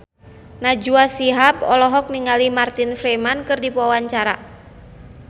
Najwa Shihab olohok ningali Martin Freeman keur diwawancara